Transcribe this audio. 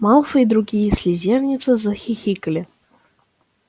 малфой другие слизеринцы захихикали